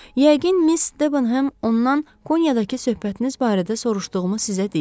Yəqin Miss Debenhem ondan Konyadakı söhbətiniz barədə soruşduğumu sizə deyib.